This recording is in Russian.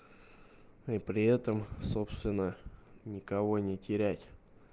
и при этом собственно никого не терять